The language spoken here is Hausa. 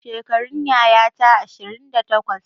Shekarun yayata ashirin da takwas